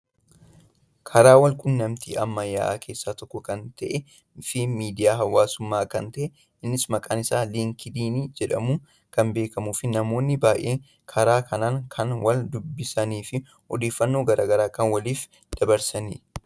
Karaa wal quunnamtii ammayyaa keessaa tokko kan ta'eefi miidiyaa hawaasaa kan ta'edha. Innis maqaan isaa liinkidiin jedhamuun kan beekkamuufi namoonni baayyee karaa kanaan kan wal dubhisaniifi odeeffannoo gara garaa kan waliif dabarsanidha.